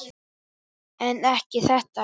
En ekki þetta.